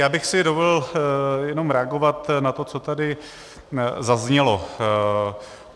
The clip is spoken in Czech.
Já bych si dovolil jenom reagovat na to, co tady zaznělo.